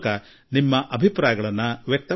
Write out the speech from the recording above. ನಲ್ಲಿ ನಿಮ್ಮ ಅಭಿಪ್ರಾಯ ನೀಡಿದ್ದೀರಿ